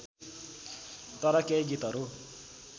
तर केही गीतहरू